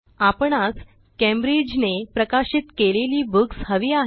आपणास Cambridgeने प्रकाशित केलेली booksहवी आहेत